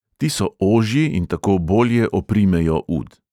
Ti so ožji in tako bolje oprimejo ud.